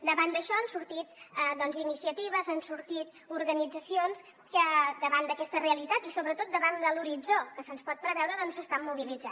davant d’això han sortit iniciatives han sortit organitzacions que davant d’aquesta realitat i sobretot davant de l’horitzó que se’ns pot preveure doncs s’estan mobilitzant